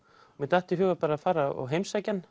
og mér datt í hug að fara og heimsækja hann